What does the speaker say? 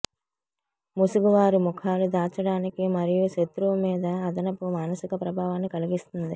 ముసుగు వారి ముఖాలు దాచడానికి మరియు శత్రువు మీద అదనపు మానసిక ప్రభావాన్ని కలిగిస్తుంది